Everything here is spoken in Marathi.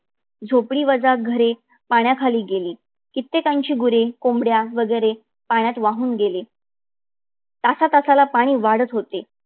झोपडी वजा घरे पाण्याखाली गेली. कित्येकाची गुरे कोंबड्या वगैरे पाण्यात वाहून गेली. तासा तासाला पाणी वाढत होते.